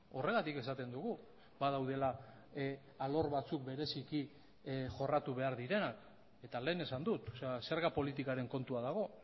horregatik esaten dugu badaudela alor batzuk bereziki jorratu behar direnak eta lehen esan dut zerga politikaren kontua dago